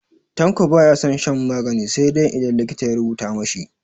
Tanko ba ya son shan magani sai idan likita ya rubuta ma shi.